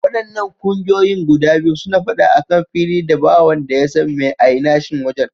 Waɗannan ƙungiyoyin guda biyun suna faɗa akan fili da ba wanda yasan mai ainashin wajan.